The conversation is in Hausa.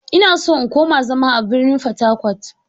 Ina so in koma zama a birnin fatakwat.